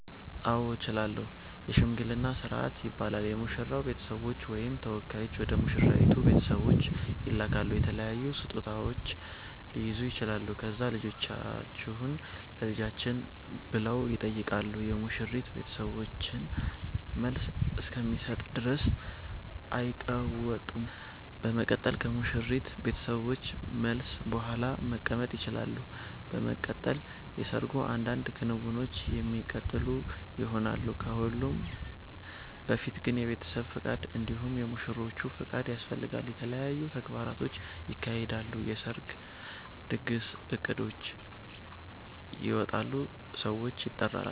አዎ እችላለሁ የሽምግልና ስርአት ይባላል የሙሽራዉ ቤተሰቦች ወይም ተወካዮች ወደ ሙሽራይቱ ቤተሰቦች ይላካሉ የተለያዩ ስጦታዉች ሊይዙ ይችላሉ ከዛ ልጃችሁን ለልጃችን ብለዉ ይጠይቃሉ የሙሽሪት ቤተሰቦችን መልስ እስከሚሰጡ ድረስ አይቀመጡም በመቀጠል ከሙሽሪት ቤተሰቦች መልስ ቡሃላ መቀመጥ ይቸላሉ። በመቀጠል የሰርጉ አንዳንድ ክንዉኖች የሚቀጥሉ ይሆናል። ከሁሉም በፊት ግን የቤተሰብ ፍቃድ እንዲሁም የሙሽሮቹ ፍቃድ ያስፈልጋል። የተለያዩ ተግባራቶች ይካሄዳሉ የሰርጉ ድግስ እቅዶች ይወጣሉ ሰዎች ይጠራሉ